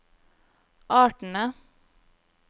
artene